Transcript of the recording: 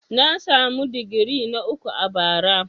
Na samu digiri na uku a bara.